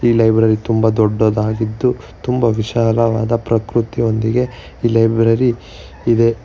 Library ತುಂಬ ದೊಡ್ಡದಾದಾಗಿದ್ದು ತುಂಬ ವಿಶಾಲವಾದ ಪ್ರಕೃತಿಯೊಂದಿಗೆ ಈ ಲೈಬ್ರರಿ ಇದೆ.